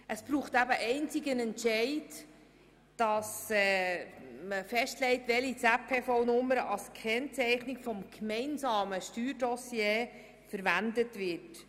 Es braucht einzig einen Entscheid, der festlegt, welche ZPV-Nummer als Kennzeichnung des gemeinsamen Steuerdossiers verwendet wird.